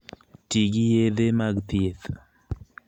Ti gi yedhe mag thieth